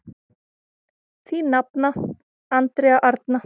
Þín nafna, Andrea Arna.